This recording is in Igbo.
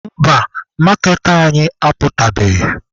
Mba, maaketa anyị aputabeghị.